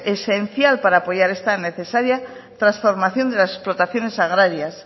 esencial para apoyar esta necesaria transformación de las explotaciones agrarias